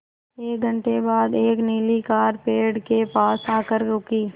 एक घण्टे बाद एक नीली कार पेड़ के पास आकर रुकी